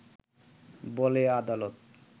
বলে আদালত